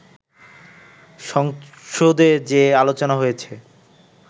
সংসদে যে আলোচনা হয়েছে